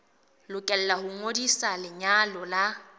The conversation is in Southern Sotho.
lokela ho ngodisa lenyalo la